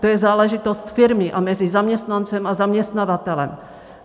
To je záležitost firmy a mezi zaměstnancem a zaměstnavatelem.